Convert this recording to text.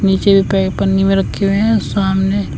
नीचे प पन्नी में रखे हुए हैं और सामने--